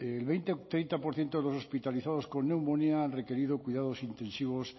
el veinte treinta por ciento de los hospitalizados con neumonía han requerido cuidados intensivos